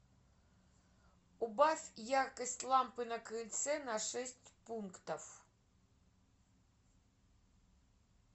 убавь яркость лампы на крыльце на шесть пунктов